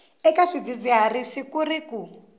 eka swidzidziharisi ku ri ku